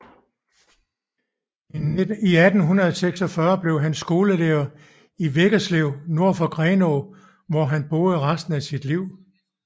I 1846 blev han skolelærer i Veggerslev nord for Grenå hvor han boede resten af sit liv